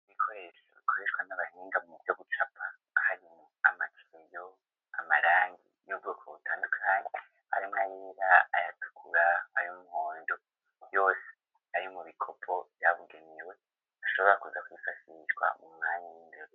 Abana bamwe ari bo bantu ba mbere bakunda ibintu vy'imikino yo kwiruhurira mu mutwe mwo gukina imipira y'amaboko canke w'amaguru no kuja kubivuma.